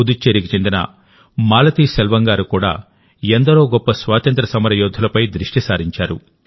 పుదుచ్చేరికి చెందిన మాలతీసెల్వం గారు కూడా ఎందరో గొప్ప స్వాతంత్ర్య సమరయోధులపై దృష్టి సారించారు